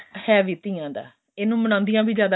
ਹੈ ਵੀ ਧੀਆਂ ਦਾ ਇਹਨੂੰ ਮਨਾਉਂਦੀਆਂ ਵੀ ਜ਼ਿਆਦਾ